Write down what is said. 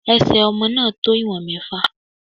Ẹ̀sẹ̀ ọmọ náà tó ìwọ̀n mẹ́fà.